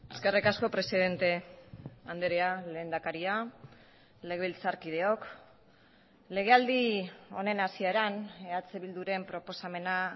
eskerrik asko presidente andrea lehendakaria legebiltzarkideok legealdi honen hasieran eh bilduren proposamena